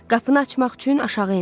Qapını açmaq üçün aşağı endi.